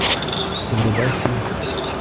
врубай фильм кости